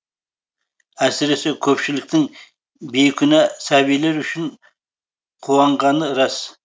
әсіресе көпшіліктің бейкүнә сәбилер үшін қуанғаны рас